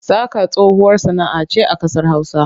Saƙa tsohuwar sana'a ce a ƙasar Hausa.